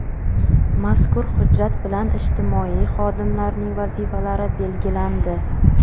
Mazkur hujjat bilan ijtimoiy xodimlarning vazifalari belgilandi.